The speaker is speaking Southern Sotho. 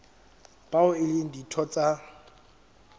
bao e leng ditho tsa